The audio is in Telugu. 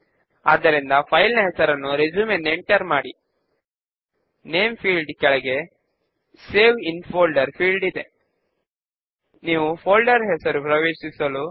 ఇప్పుడు మనకు పరిచయము ఉన్న ఫామ్ విజార్డ్ ను చూడవచ్చు